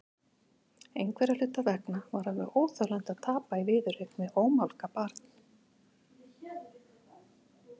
Einhverra hluta vegna var alveg óþolandi að tapa í viðureign við ómálga barn.